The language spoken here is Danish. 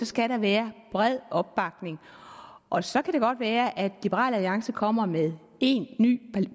skal der være bred opbakning og så kan det godt være at liberal alliance kommer med en ny